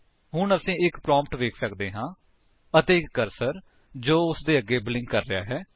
ਹੁਣ ਅਸੀ ਇੱਕ ਪ੍ਰੋਂਪਟ ਵੇਖ ਸਕਦੇ ਹਾਂ ਅਤੇ ਇੱਕ ਕਰਸਰ ਜੋ ਉਸਦੇ ਅੱਗੇ ਬਲਿੰਕ ਕਰ ਰਿਹਾ ਹੈ